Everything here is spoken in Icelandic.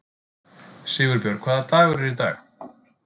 Sigurbjörg, hvaða dagur er í dag?